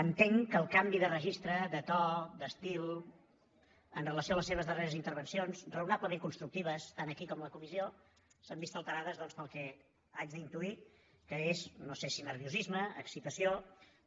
entenc que el canvi de registre de to d’estil amb relació a les seves darreres intervencions raonablement constructives tant aquí com a la comissió s’han vist alterades doncs pel que haig d’intuir que és no sé si nerviosisme excitació